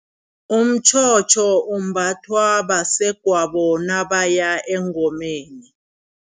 Umtjhotjho umbathwa basegwabo nabaya engomeni.